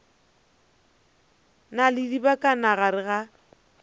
na le dibakana gare ga